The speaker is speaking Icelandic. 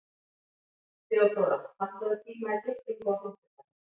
Theodóra, pantaðu tíma í klippingu á fimmtudaginn.